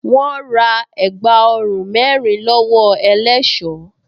Wọ́́n ra ẹ̀gbá ọrùn mẹ́rin lọ́wọ́ ẹlẹṣọ́